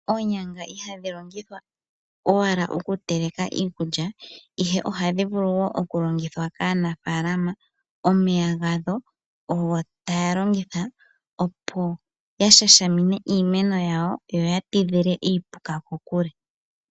Oonyanga ihadhi longithwa owala okuteleka iikulya, ihe ohadhi vulu wo okulongithwa kaanafaalama omeya gadho ogo taa longitha, opo ya shashamine iimeno yawo yo ya tidhile iipuka kokule.